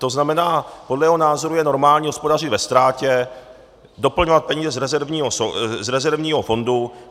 To znamená, podle jeho názoru je normální hospodařit ve ztrátě, doplňovat peníze z rezervního fondu.